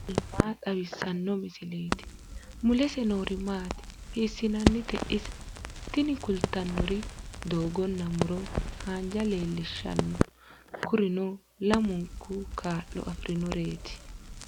tini maa xawissanno misileeti ? mulese noori maati ? hiissinannite ise ? tini kultannori doogonna muro haanjja leellishshanno kurino lamunu kaa'lo afirinoreeti.